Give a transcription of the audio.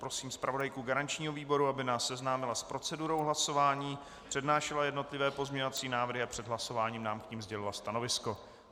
Prosím zpravodajku garančního výboru, aby nás seznámila s procedurou hlasování, přednášela jednotlivé pozměňovací návrhy a před hlasováním nám k nim sdělila stanovisko.